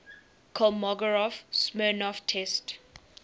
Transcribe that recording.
kolmogorov smirnov test